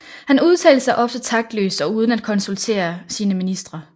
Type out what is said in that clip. Han udtalte sig ofte taktløst og uden at konsultere sine ministre